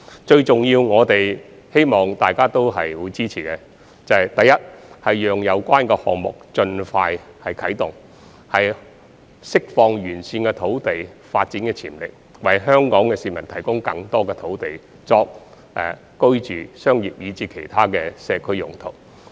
最重要的是，希望大家也會支持，第一，讓有關項目盡快啟動，以釋放沿線土地的發展潛力，為香港市民提供更多土地作居住、商業以至其他社區用途。